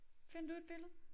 Find du et billede